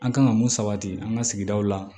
An kan ka mun sabati an ka sigidaw la